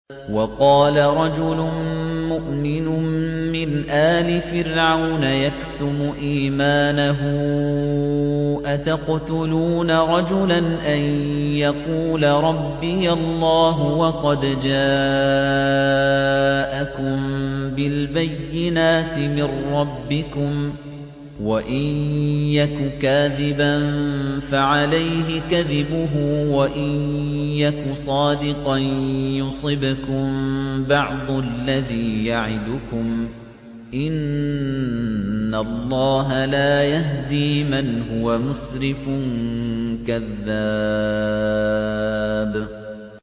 وَقَالَ رَجُلٌ مُّؤْمِنٌ مِّنْ آلِ فِرْعَوْنَ يَكْتُمُ إِيمَانَهُ أَتَقْتُلُونَ رَجُلًا أَن يَقُولَ رَبِّيَ اللَّهُ وَقَدْ جَاءَكُم بِالْبَيِّنَاتِ مِن رَّبِّكُمْ ۖ وَإِن يَكُ كَاذِبًا فَعَلَيْهِ كَذِبُهُ ۖ وَإِن يَكُ صَادِقًا يُصِبْكُم بَعْضُ الَّذِي يَعِدُكُمْ ۖ إِنَّ اللَّهَ لَا يَهْدِي مَنْ هُوَ مُسْرِفٌ كَذَّابٌ